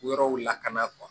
Yɔrɔw lakana